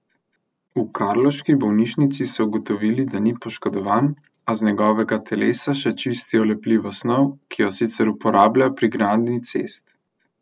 V karlovški bolnišnici so ugotovili, da ni poškodovan, a z njegovega telesa še čistijo lepljivo snov, ki jo sicer uporabljajo pri gradnji cest.